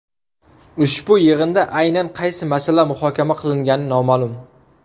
Ushbu yig‘inda aynan qaysi masala muhokama qilingani noma’lum.